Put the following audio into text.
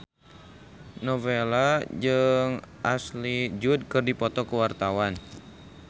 Nowela jeung Ashley Judd keur dipoto ku wartawan